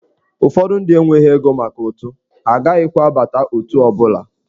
Ụfọdụ ndị enweghị ego maka ụtụ, ha agaghịkwa abata otù ọ bụla.